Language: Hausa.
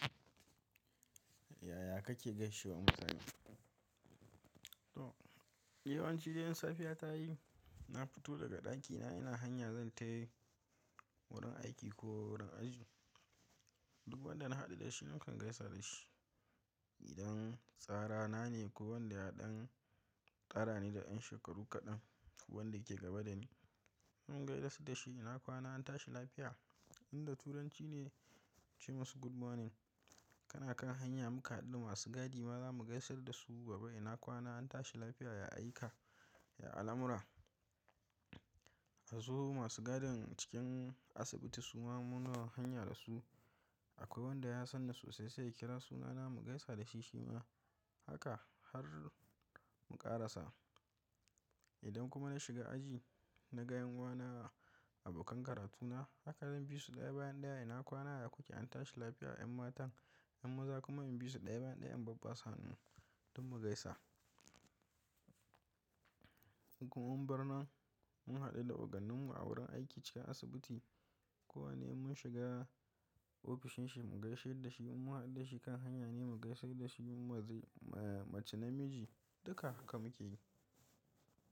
Yaya kake gaishewa mutane? To, yawanci idan safiya ta yi, na fito daga ɗakina ina hanya zan tafi wurin aiki ko wurin aji. Duk wanda na haɗu da shi nakan gaisa da shi. Idan tsarana ne ko wanda ya ɗan ɗara ne da ƴan shekaru kaɗan ko wanda ke gaba da ni, mun gaisa da shi, “ina kwana, an tashi lafiya?” Inda Turanci ne ce masa “Good morning”. Kana kan hanya muka haɗu da masu gadi ma zamu gaisar da su babba, “ina kwana, an tashi lafiya, ya aika? Ya alamura?” A zuwa masu gadin cikin asibiti su ma muna hanya da su. Akwai wanda ya san ni sosai sai ya kira sunana mu gaisa da shi shi ma. Haka har mu ƙarasa. Idan kuma na shiga aji, na ga ’yan uwa na, abokan karatuna, haka zan bi su ɗaya bayan ɗaya, “ina kwana da ku ke? An tashi lafiya?” ‘Yan matan, ‘yan maza kuma in bi su ɗaya bayan ɗaya ‘yan babban sanin don mu gaisa. Ko mun barnan mun haɗu da ogannin mu a wurin aiki cikin asibiti. Ko wane mun shiga ofishin shi mu gaishe da shi. In mun haɗu da shi kan hanya ne mu gaisar da shi. Mun mace namiji duka haka muke yi.